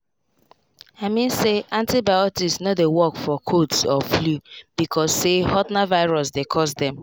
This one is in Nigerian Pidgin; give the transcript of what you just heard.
i mean say antibiotics no dey work for colds or flu because say haltna virus dey cause dem.